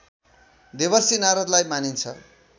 देवर्षि नारदलाई मानिन्छ